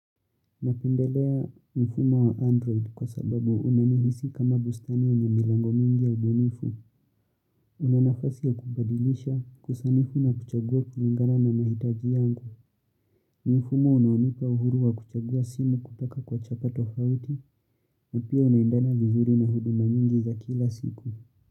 Napendelea mfumo wa android kwa sababu unanihisi kama bustani ya yenye milango mingi ya ubunifu. Unanafasi ya kubadilisha kusanifu na kuchagua kulingana na mahitaji yangu. Mfumo unaonipa uhuru wa kuchagua simu kutoka kwa chapa tofauti. Napia unaendana vizuri na huduma nyingi za kila siku.